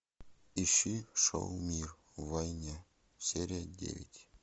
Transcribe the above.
ищи шоу мир в войне серия девять